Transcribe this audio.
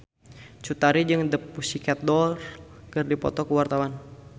Cut Tari jeung The Pussycat Dolls keur dipoto ku wartawan